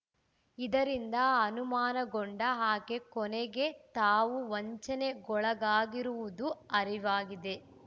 ಇದರಿಂದ ಅನುಮಾನಗೊಂಡ ಆಕೆ ಕೊನೆಗೆ ತಾವು ವಂಚನೆಗೊಳಗಾಗಿರುವುದು ಅರಿವಾಗಿದೆ